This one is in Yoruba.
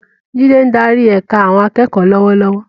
Jide ń darí ẹ̀ka àwọn akẹ́kọ̀ọ́ lọ́wọ́lọ́wọ́.